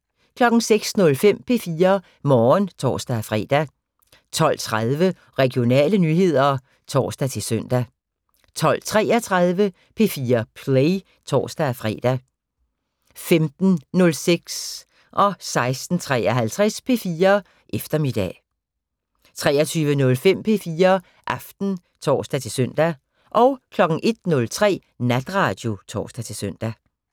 06:05: P4 Morgen (tor-fre) 12:30: Regionale nyheder (tor-søn) 12:33: P4 Play (tor-fre) 15:06: P4 Eftermiddag 16:53: P4 Eftermiddag 23:05: P4 Aften (tor-søn) 01:03: Natradio (tor-søn)